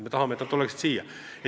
Me tahame, et nad tuleksid siia.